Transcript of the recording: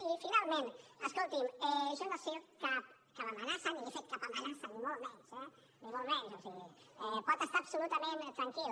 i finalment escolti’m jo no he dit cap amenaça ni li he fet cap amenaça ni molt menys eh ni molt menys o sigui pot estar absolutament tranquil